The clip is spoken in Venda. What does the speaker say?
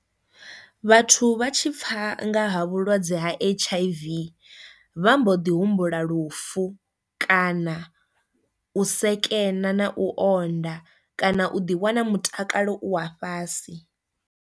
Vhathu vha tshi pfa nga vhulwadze ha H_I_V vha mbo ḓi humbula lufu kana u sekena na u onda kana u ḓi wana mutakalo u wa fhasi.